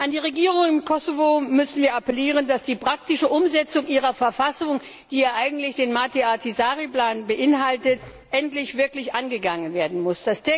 An die Regierung im Kosovo müssen wir appellieren, dass die praktische Umsetzung ihrer Verfassung, die ja eigentlich den Matti Ahtisaari Plan beinhaltet, wirklich endlich angegangen werden muss.